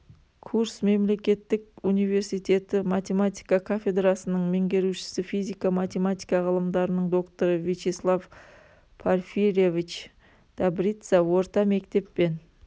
курск мемлекеттік университеті математика кафедрасының меңгерушісі физика-математика ғылымдарының докторы вячеслав порфирьевич добрица орта мектеп пен